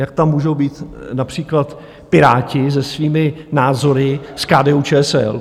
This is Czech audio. Jak tam můžou být například Piráti se svými názory s KDU-ČSL.